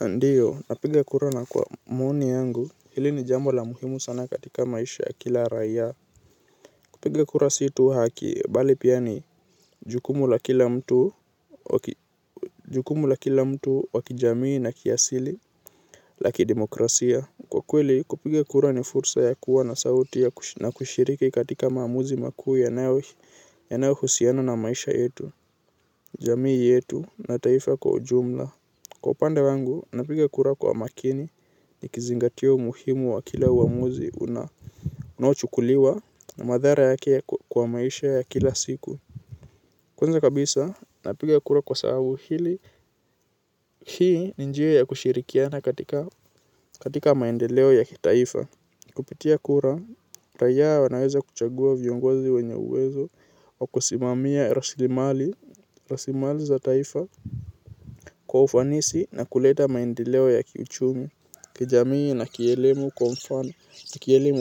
Ndiyo napiga kura na kwa maoni yangu hili ni jambo la muhimu sana katika maisha ya kila raiya. Kupiga kura si tu haki bali pia ni jukumu la kila mtu wa kijamii na kiasili la kidemokrasia. Kwa kweli kupiga kura ni fursa ya kuwa na sauti na kushiriki katika maamuzi makuu yanayohusiano na maisha yetu jamii yetu na taifa kwa ujumla. Kwa upande wangu, napiga kura kwa makini nikizingatio umuhimu wa kila uamuzi unaochukuliwa na madhara yake kwa maisha ya kila siku. Kwanza kabisa, napiga kura kwa sababu hili hii ni njia ya kushirikiana katika maendeleo ya kitaifa. Kupitia kura, raiya wanaweza kuchagua viongozi wenye uwezo wa kusimamia raslimali za taifa kwa ufanisi na kuleta maendeleo ya kiuchumi kijamii na kielimu.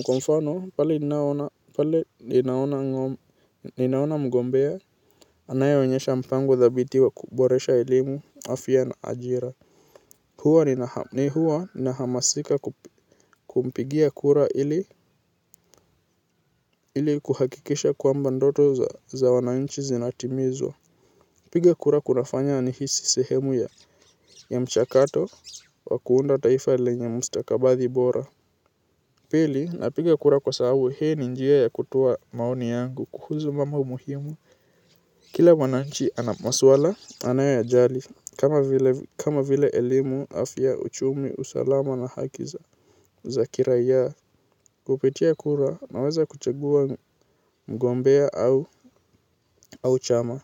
Kwa mfano pale ninaona mgombea anayeonyesha mpango dhabiti wa kuboresha elimu afya na ajira. Hua nahamasika kumpigia kura ili ili kuhakikisha kwamba ndoto za wananchi zinatimizwa. Kupiga kura kunafanya nihisi sehemu ya mchakato wa kuunda taifa lenye mstakabathi bora. Pili napiga kura kwa sababu hii ni njia ya kutoa maoni yangu kuhusu mambo muhimu. Kila mwananchi ana maswala anayoyajali kama vile elimu afya uchumi usalama na haki za kiraiya. Kupitia kura naweza kuchagua mgombea au chama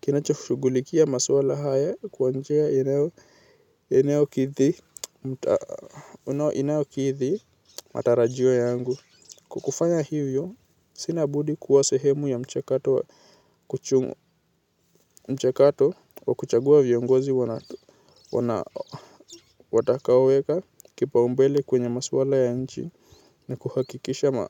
kinachoshugulikia maswala haya kwa njia inayokithi matarajio yangu. Kwa kufanya hivyo, sina budi kuwa sehemu ya mchakato wa kuchagua viongozi watakaoweka kipaumbele kwenye maswala ya nchi na kuhakikisha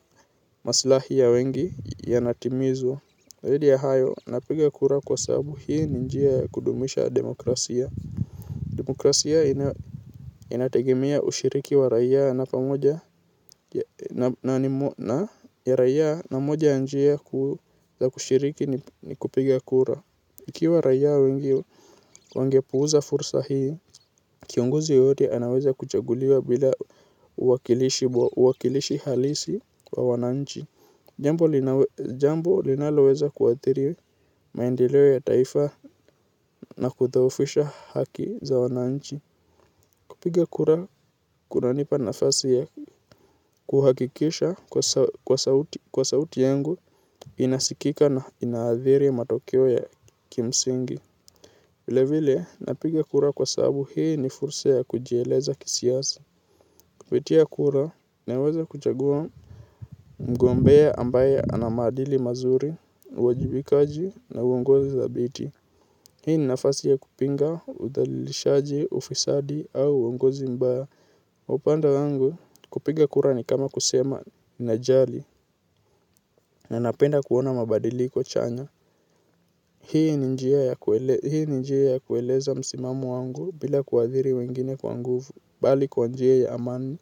maslahi ya wengi yanatimizwa. Zaidi ya hayo napiga kura kwa sababu hii ni njia ya kudumisha demokrasia. Demokrasia inategemea ushiriki wa raiya na pamoja na ya raiya na moja njia kuu za kushiriki ni kupiga kura. Ikiwa raya wengi wangepuuza fursa hii, kiongozi yeyote anaweza kuchaguliwa bila uwakilishi halisi wa wananchi. Jambo linaloweza kuathiri maendelewe ya taifa na kudhoofisha haki za wananchi. Kupiga kura kunanipa nafasi ya kuhakikisha kuwa sauti yangu inasikika na inaadhiri matokeo ya kimsingi. Vilevile napiga kura kwa sababu hii ni fursa ya kujieleza kisiasa. Kupitia kura naweza kuchagua mgombea ambaye ana maadili mazuri, uwajibikaji, na uongozi thabiti. Hii ni nafasi ya kupinga uthalilishaji, ufisadi au uongozi mbaya. Kwa upande wangu kupiga kura ni kama kusema najali na napenda kuona mabadili chanya. Hii ni njia ya kueleza msimamo wangu bila kuadhiri wengine kwa nguvu bali kwa njia ya amani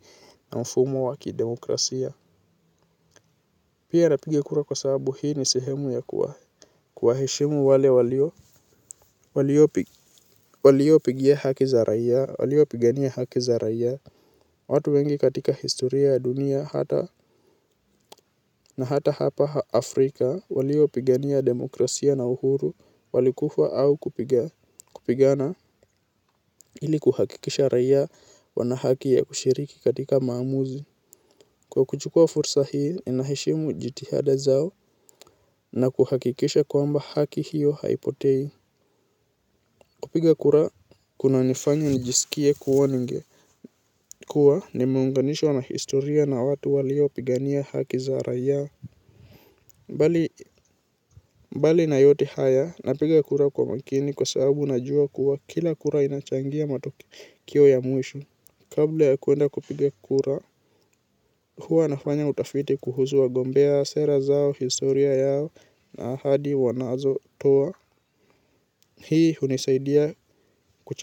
na mfumo wa kidemokrasia. Pia napiga kura kwa sababu hii ni sehemu ya kuwaheshimu wale waliopigia haki za raia, waliopigania haki za raia. Watu wengi katika historia ya dunia hata na hata hapa Afrika waliopigania demokrasia na uhuru. Walikufa au kupigana ili kuhakikisha raia wana haki ya kushiriki katika maamuzi. Kwa kuchukuwa fursa hii ninaheshimu jitihada zao na kuhakikisha kwamba haki hiyo haipotei. Kupiga kura kunanifanya nijisikie kuwa ninge kuwa nimeunganishwa na historia na watu waliopigania haki za raia. Mbali na yote haya, napiga kura kwa makini kwa sababu najua kuwa kila kura inachangia matokeo ya mwisho. Kabla ya kwenda kupiga kura, huwa nafanya utafiti kuhuzu wagombea, sera zao, historia yao na ahadi wanazotoa. Hii hunisaidia kuchagua.